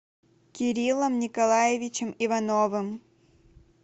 кириллом николаевичем ивановым